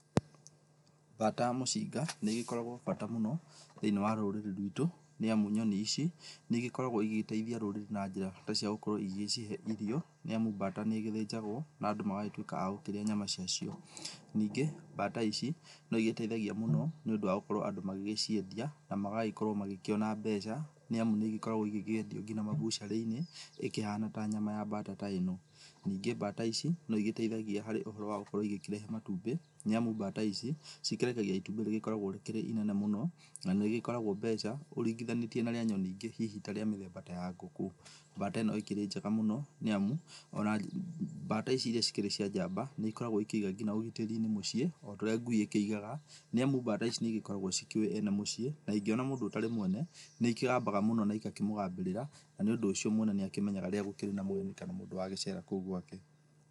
Mbata mũcinga nĩigĩkoragwo mbata mũno thĩiniĩ wa rũrĩrĩ rwitũ, nĩamu nyoni ici nĩigĩkoragwo igĩgĩteithia rũrĩrĩ na njĩra cia gũkorwo igĩcihe irio, nĩamu mbata nĩĩgĩthĩnjagwo na andũ magagĩtuĩka agũkĩrĩa nyama ciacio. Ningĩ mbata ici no igĩteithagia mũno, nĩũndũ wa gũkorwo andũ magĩgĩciendia na magagĩkorwo magĩkĩona mbeca nĩamu nĩigĩkoragwo igĩkĩendio kinya ma butchery inĩ ĩkĩhana ta nyama ya mbata ta ĩno. Ningĩ bata ici noigĩteithagia harĩ ũhoro wa gũkorwo igĩkĩrehe matumbĩ, nĩamu mbata ici cikĩrekagia itumbĩ rĩgĩkoragwo rĩkĩrĩ inene mũno na nĩrĩgĩkoragwo mbeca ũringihanĩtie na rĩa nyoni ingĩ hihi ta rĩa mĩthemba ta ya ngũkũ. Mbata ĩno ĩkĩrĩ njega mũno nĩamu, ona mbata ici iria cikĩrĩ cia njamba nĩigĩkoragwo ikĩiga ũgitĩri-inĩ mũciĩ ota ũrĩa ngui ĩkĩigaga nĩamu mbata ici nĩigĩkoragwo cikĩũĩ ene mũciĩ na ingĩona mũndũ ũtarĩ mwene, nĩikĩgambaga mũno na igakĩmũgambĩrĩra na nĩũndũ ũcio mwene nĩakĩmenyaga rĩrĩa gũkĩrĩ na mũgeni kana mũndũ wagĩcera kũu gwake.